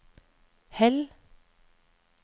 Hell